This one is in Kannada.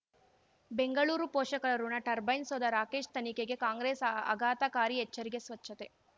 ಬೆಂಗಳೂರು ಪೋಷಕರಋಣ ಟರ್ಬೈನ್ ಸೌಧ ರಾಕೇಶ್ ತನಿಖೆಗೆ ಕಾಂಗ್ರೆಸ್ ಆಘಾತಕಾರಿ ಎಚ್ಚರಿಕೆ ಸ್ವಚ್ಛತೆ